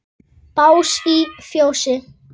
Bás í fjósi?